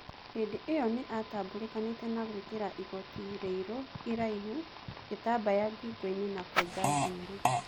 Hĩndĩ-o-ĩyo nĩ atambũrĩkanĩte na gũĩkĩra igoti rĩiru iraihu, gĩtambaya ngingoinĩ na kwenja njuĩri..